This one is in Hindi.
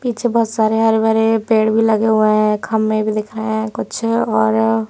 पीछे बहोत सारे हरे भरे पेड़ भी लगे हुए हैं। खंबे भी दिख रहे हैं कुछ और--